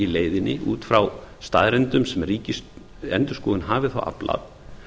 í leiðinni út frá staðreyndum sem ríkisendurskoðun hafi þá aflað